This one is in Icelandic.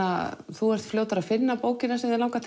þú ert fljótari að finna bókina sem þig langar